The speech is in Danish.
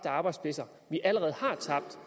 arbejdspladser vi allerede har tabt